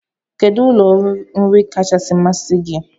Kedụ ụlọ nri kachasị masị gi?